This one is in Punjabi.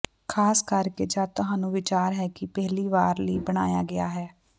ਖ਼ਾਸ ਕਰਕੇ ਜਦ ਤੁਹਾਨੂੰ ਵਿਚਾਰ ਹੈ ਕਿ ਪਹਿਲੀ ਵਾਰ ਲਈ ਬਣਾਇਆ ਗਿਆ ਹੈ